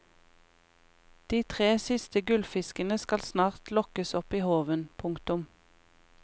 De tre siste gullfiskene skal snart lokkes opp i håven. punktum